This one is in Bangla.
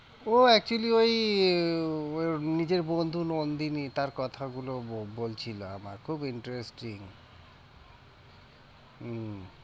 ও actually ওই নিজের বন্ধু নন্দিনী তার কথাগুলো বলছিলো আমায় খুব interesting উম